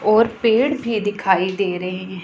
और पेड़ भी दिखाई दे रहे हैं।